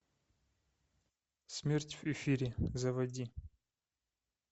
смерть в эфире заводи